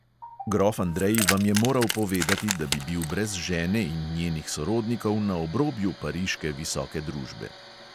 Grof andrej vam je moral povedati, da bi bil brez žene in njenih sorodnikov na obrobju pariške visoke družbe.